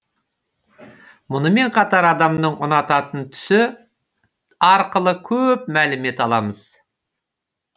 мұнымен қатар адамның ұнататын түсі арқылы көп мәлімет аламыз